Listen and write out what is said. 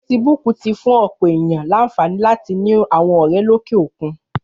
Fésibúk ti fún òpò éniyàn lànfání làtí ni áwòn òrè lóké ókún